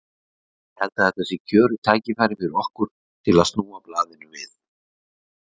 Ég held að þetta sé kjörið tækifæri fyrir okkur til að snúa blaðinu við.